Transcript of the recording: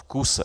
V kuse.